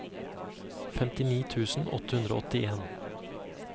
femtini tusen åtte hundre og åttien